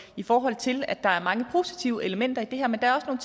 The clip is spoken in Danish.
i forhold til at der er mange positive elementer i det her men der er